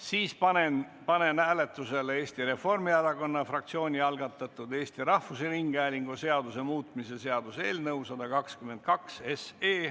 Siis panen hääletusele Eesti Reformierakonna fraktsiooni algatatud Eesti Rahvusringhäälingu seaduse muutmise seaduse eelnõu 122.